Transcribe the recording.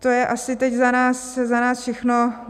To je asi teď za nás všechno.